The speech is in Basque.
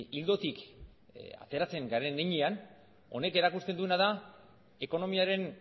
ildotik ateratzen garen heinean honek erakusten duena da ekonomiaren